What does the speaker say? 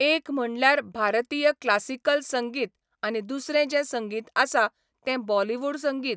एक म्हणल्यार भारतीय क्लासिकल संगीत आनी दुसरें जें संगीत आसा तें बॉलीवूड संगीत.